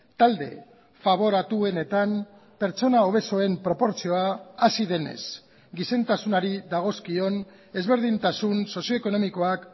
talde faboratuenetan pertsona obesoen proportzioa hazi denez gizentasunari dagozkion ezberdintasun sozio ekonomikoak